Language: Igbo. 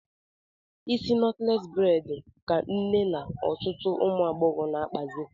Isi nọtles bredi ka nne na ọtụtụ ụmụagbọghọ na-akpazị